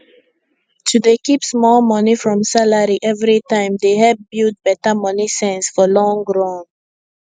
to dey keep small money from salary every time dey help build better money sense for long run